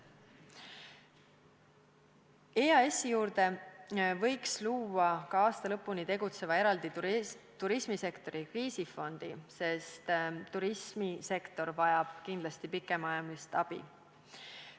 EAS-i juurde võiks luua ka aasta lõpuni tegutseva turismisektori kriisifondi, sest turismisektor vajab kindlasti pikemaajalist abi.